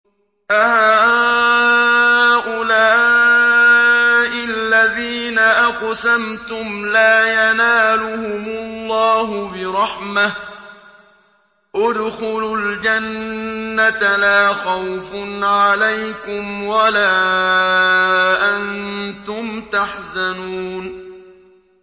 أَهَٰؤُلَاءِ الَّذِينَ أَقْسَمْتُمْ لَا يَنَالُهُمُ اللَّهُ بِرَحْمَةٍ ۚ ادْخُلُوا الْجَنَّةَ لَا خَوْفٌ عَلَيْكُمْ وَلَا أَنتُمْ تَحْزَنُونَ